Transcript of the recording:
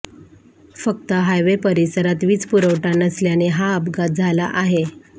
फक्त हायवे परिसरात वीज पुरवठा नसल्याने हा अपघात झाला आहे